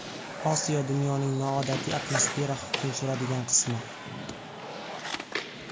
Osiyo dunyoning noodatiy atmosfera hukm suradigan qismi.